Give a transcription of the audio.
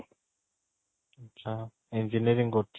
ଆଚ୍ଛା, Engineering କରୁଛୁ